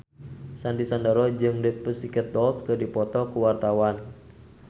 Sandy Sandoro jeung The Pussycat Dolls keur dipoto ku wartawan